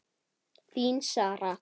Þín Sara.